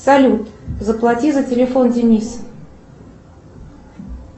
салют заплати за телефон дениса